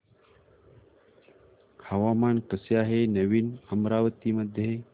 हवामान कसे आहे नवीन अमरावती मध्ये